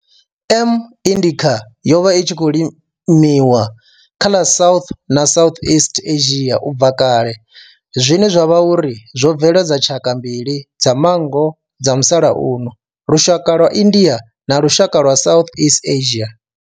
M. indica yo vha i tshi khou limiwa kha ḽa South na Southeast Asia ubva kale zwine zwa vha uri zwo bveledza tshaka mbili dza manngo dza musalauno lushaka lwa India na lushaka lwa Southeast Asia.